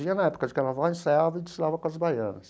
Vinha na época de Carnaval, ensaiava e desfilava com as baianas.